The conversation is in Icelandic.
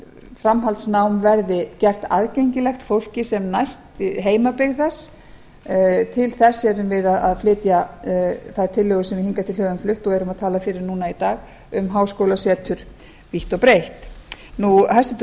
framhaldsnám verði gert aðgengilegt fólki sem næst heimabyggð til þess erum við að flytja þær tillögur sem við hingað til höfum flutt og erum að tala fyrir núna í dag um háskólasetur vítt og breitt hæstvirtur